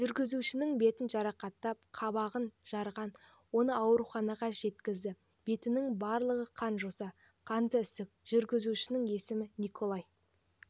жүргізушінің бетін жарақаттап қабағын жарған оны ауруханаға жеткізді бетінің барлығы қан-жоса қанды ісік жүргізушінің есімі николай